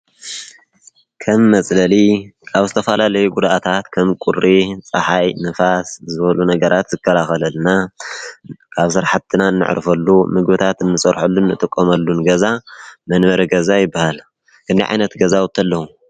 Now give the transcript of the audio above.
ከም መፅለሊ ካብ ዝተፈላልዩ ጉድኣታት ከም ቁሪ፣ ፀሓይ፣ ንፋስ ዝበሉ ነገራት ዝከላኸለልና አብ ስራሕትና ነዕርፈሉ ምግብና እንሰርሐሉ ንጥቀመሉን ገዛ መንበሪ ገዛ ይበሃል። ክንደይ ዓይነት ገዛዉቲ አለዉ?